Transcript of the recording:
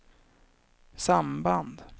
samband